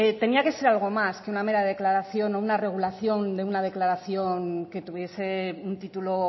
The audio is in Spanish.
tenía que ser algo más que una mera declaración o una regulación de una declaración que tuviese un título